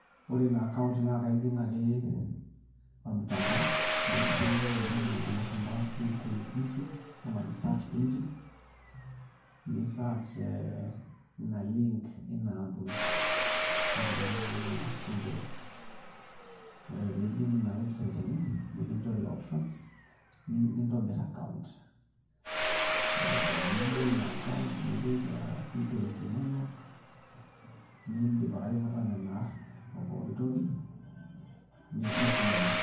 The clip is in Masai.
Ore ina account naa ijing' ake ormutandao nijing' entoki najo ilashumba google engine nisearch ina link ina ampuni matejo naai ena naji Sendwave nijing' ina website eneye nikinchori options nintobir account nibol ina account nipik details inonok niidip ake aiputa nena aarn pooki toki nesidanu.